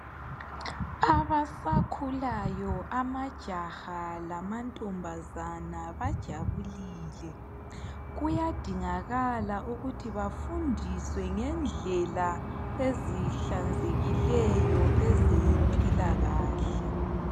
Abasakhulayo amajaha lamantombazana bajabulile. Kuyadingakala ukuthi bafundiswe ngendlela ezihlanzekileyo ezempilakahle.